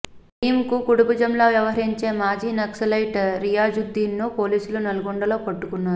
నయీంకు కుడిభుజంలా వ్యవహరించే మాజీ నక్సలైట్ రియాజుద్దీన్ను పోలీసులు నల్లగొండలో పట్టుకున్నారు